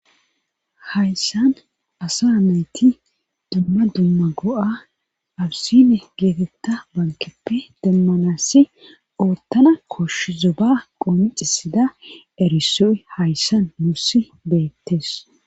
hayssan asa mayti dumma dumma go7a awusine geetetta bankeppe demmanassi oottana koshsh zo ba qoomicisida eriso7i hayssan musi beettes